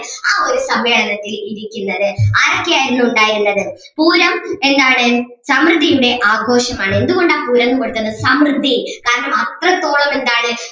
ആ ഒരു സഭയെ അലങ്കരിച്ചിരിക്കുന്നത് ആരൊക്കെ ആയിരുന്നു ഉണ്ടായിരുന്നത് പൂരം എന്താണ് സമൃദ്ധിയുടെ ആഘോഷമാണ് എന്തുകൊണ്ടാ സമൃദ്ധി കാരണം അത്രത്തോളം എന്താണ്